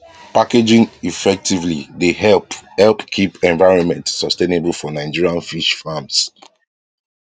packaging effectively dey help help keep environment sustainable for nigerian fish farms